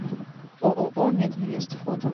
ооо мединвест фото